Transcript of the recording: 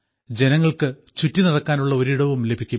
ജനങ്ങൾക്ക് ചുറ്റിനടക്കാനുള്ള ഒരിടവും ലഭിക്കും